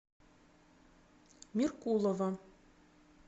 меркулова